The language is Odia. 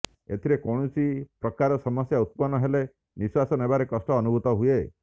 ଏଥିରେ କୌଣସି ପ୍ରକାର ସମସ୍ୟା ଉତ୍ପନ ହେଲେ ନିଃଶ୍ବାସ ନେବାରେ କଷ୍ଟ ଅନୁଭୁତ ହୁଏ